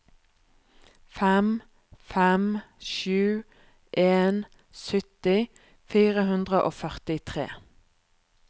fem fem sju en sytti fire hundre og førtitre